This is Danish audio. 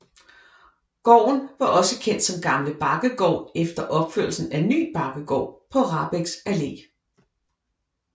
Gården var også kendt som Gamle Bakkegård efter opførelsen af Ny Bakkegård på Rahbeks Allé